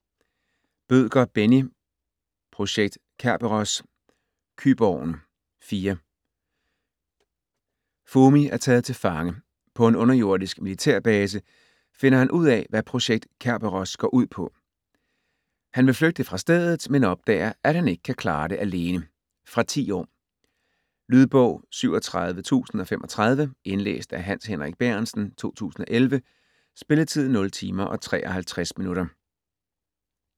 Bødker, Benni: Projekt Kerberos: Kyborgen: 4 Fumi er taget til fange. På en underjordisk militærbase finder han ud af, hvad Projekt Kerberos går ud på. Han vil flygte fra stedet, men opdager, at han ikke kan klare det alene. Fra 10 år. Lydbog 37035 Indlæst af Hans Henrik Bærentsen, 2011. Spilletid: 0 timer, 53 minutter.